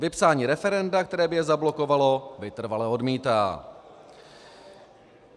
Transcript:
Vypsání referenda, které by je zablokovalo, vytrvale odmítá.